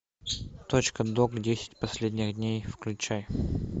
точка док десять последних дней включай